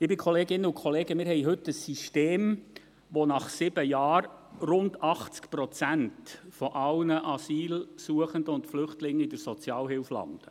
Liebe Kolleginnen und Kollegen, wir haben heute ein System, bei dem nach sieben Jahren rund 80 Prozent aller Asylsuchenden und Flüchtlingen in der Sozialhilfe landen.